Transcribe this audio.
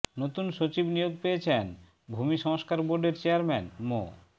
নতুন সচিব নিয়োগ পেয়েছেন ভূমি সংস্কার বোর্ডের চেয়ারম্যান মো